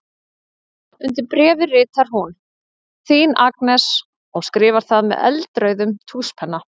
Undir bréfið ritar hún: Þín Agnes og skrifar það með eldrauðum tússpenna.